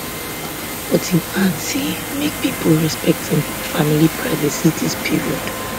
but im add say make pipo respect im family privacy dis period